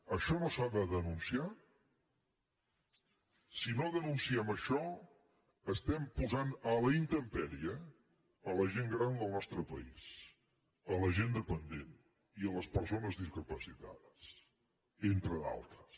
això no s’ha de denunciar si no denunciem això posem a la intempèrie la gent gran del nostre país la gent dependent i les persones discapacitades entre d’altres